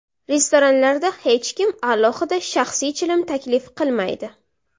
Restoranlarda hech kim alohida shaxsiy chilim taklif qilmaydi.